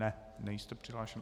Ne, nejste přihlášen.